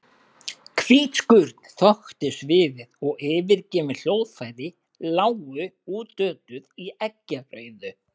Hvít skurn þöktu sviðið og yfirgefin hljóðfæri lágu útötuð í eggjarauðu.